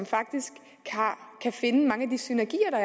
faktisk finde mange af de synergier